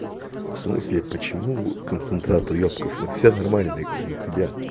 в смысле почему концентрат уёбков мы все нормальные кроме тебя